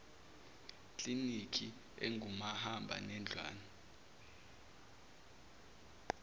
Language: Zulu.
kliniki engumahamba nendlwana